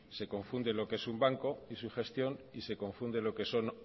se confunde lo que es un banco y su gestión y se confunde lo que son